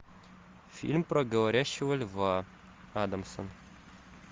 фильм про говорящего льва адамсон